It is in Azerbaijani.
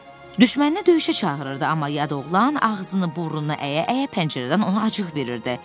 Düşmənini döyüşə çağırırdı, amma yad oğlan ağzını burnunu əyə-əyə pəncərədən ona acıq verirdi.